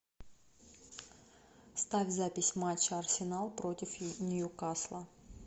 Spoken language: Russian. ставь запись матча арсенал против ньюкасла